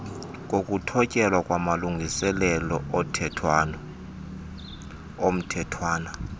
kokuthotyelwa kwamalungiselelo omthethwana